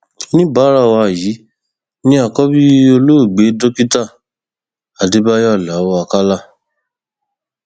oníbàárà wa yìí ni àkọbí olóògbé dókítà adébáyò aláọ àkàlà